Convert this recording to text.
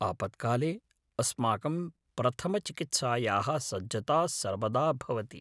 आपत्काले अस्माकं प्रथमचिकित्सायाः सज्जता सर्वदा भवति।